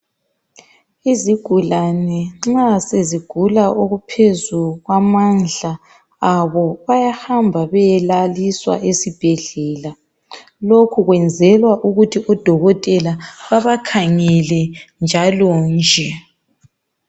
Izigulane nxa sezigula okuphezu kwamandla abo bayahamba beyelaliswa esibhedlela lokhu kwenzelwa ukuthi odokotela babakhangele njalonje.